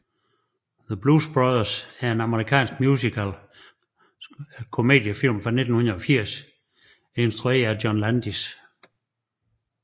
The Blues Brothers er en amerikansk musical komediefilm fra 1980 isntrueret af John Landis